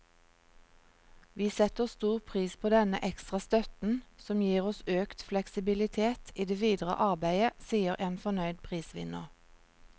Vi setter stor pris på denne ekstra støtten, som gir oss økt fleksibilitet i det videre arbeidet, sier en fornøyd prisvinner.